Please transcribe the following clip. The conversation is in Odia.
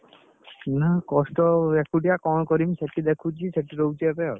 ନାଁ କଷ୍ଟ ଏକୁଟିଆ କଣ କରିବି ସେଠି ଦେଖୁଛି ସେଠି ରହୁଛି ଐକ୍ଷା ଆଉ।